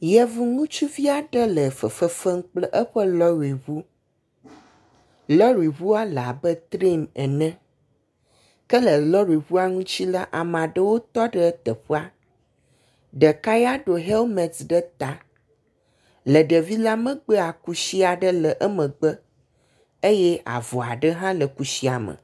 Yevu ŋutsuvi aɖe le fefe fem kple eƒe lɔriŋu lɔriŋua le abe trian ene ke le lɔriŋua ŋuti la ame aɖewo tɔ ɖe teƒea, ɖeka ya do helmet ɖe ta. Le ɖevi la megbea kusi aɖe le emegbe eye avɔ aɖe le kusia me.